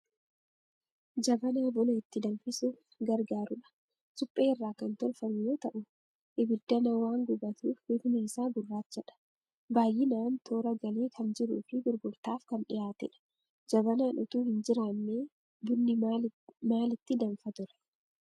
Jabanaa buna itti danfisuuf gargaaru dha. Suphee irraa kan tolfamu yoo ta'u ibiddana waan gubatuuf bifni isaa gurraacha dha. Baayyinaan toora galee kan jiruufi gurgurttaaf kan dhiyaatee dha. Jabanaan utuu hinjiraannee bunni maalitti danfa ture ?